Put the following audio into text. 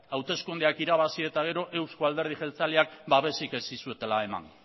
hauteskundeak irabazi eta gero euzko alderdi jeltzaleak babesik ez dizuetela eman